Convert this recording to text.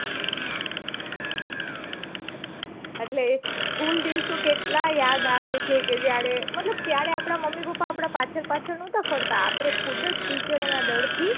એટલે એ school દિવસો કેટલા યાદ આવે છે કે જયારે મતલબ ત્યારે આપડા મમ્મી પપ્પા આપડા પાછળ પાછળ નાતા ફરતા આપડે ખુદ જ teacher ઓ ના ડર થી